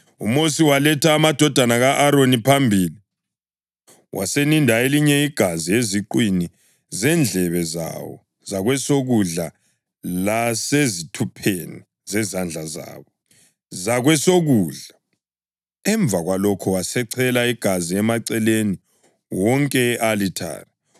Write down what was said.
UMosi waletha amadodana ka-Aroni phambili, waseninda elinye igazi eziqwini zendlebe zawo zakwesokudla lasezithupheni zezandla zabo zakwesokudla. Emva kwalokho wasechela igazi emaceleni wonke e-alithare.